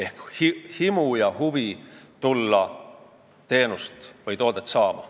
Tal oleks himu ja huvi tulla siia teenust või toodet saama.